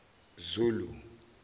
zulu